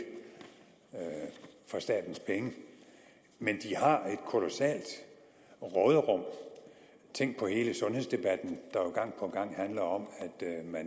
for statens penge men de har et kolossalt råderum tænk på hele sundhedsdebatten der jo gang på gang handler om